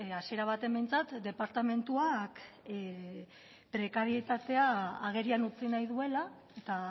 hasiera batean behintzat departamentuak prekarietatea agerian utzi nahi duela eta